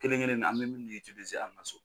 Kelen kelen nin an bɛ minnu an ka so.